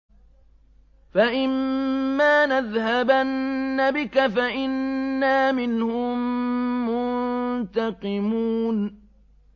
فَإِمَّا نَذْهَبَنَّ بِكَ فَإِنَّا مِنْهُم مُّنتَقِمُونَ